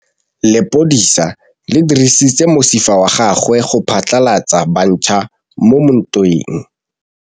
Lepodisa le dirisitse mosifa wa gagwe go phatlalatsa batšha mo ntweng.